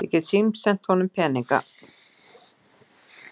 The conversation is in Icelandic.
Ég get símsent honum peninga.